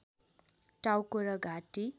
टाउको र घाँटी